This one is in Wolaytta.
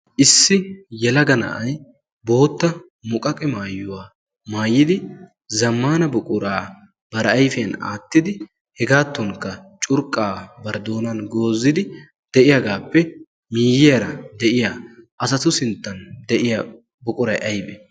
Issi yelaga na'ay bootta muqqaqe maayuwa maayyidi zammana buqura bari doonan goozidi de'iyaagappe miyyiyaara de'iyaa asatu sinttan de'iyaa buquray aybbe?